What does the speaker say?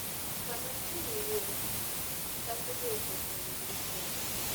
Sama chieng' wuok, kich chako wuotho koni gi koni.